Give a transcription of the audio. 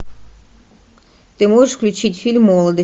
ты можешь включить фильм молодость